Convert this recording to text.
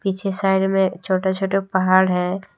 पीछे साईड में छोटा छोटा पहाड़ है।